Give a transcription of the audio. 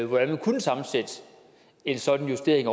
hvordan man kunne sammensætte en sådan justering af